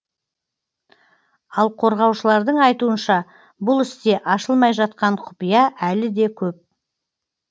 ал қорғаушылардың айтуынша бұл істе ашылмай жатқан құпия әлі де көп